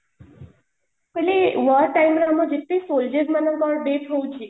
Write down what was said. ମୁଁ କହିଲି war time ରେ ଆମର ଯେତିକି soldiers ମାନଙ୍କର death ହୋଉଛି